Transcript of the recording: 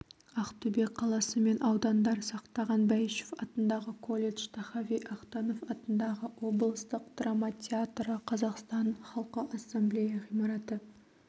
ақтөбе қаласы мен аудандар сақтаған бәйішев атындағы колледж тахави ахтанов атындағы облыстық драма театры қазақстан халқы ассамблея ғимараты